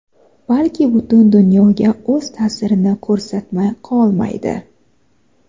balki butun dunyoga o‘z ta’sirini ko‘rsatmay qolmaydi.